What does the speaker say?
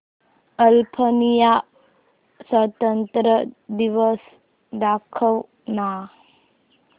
Albania स्वातंत्र्य दिवस दाखव ना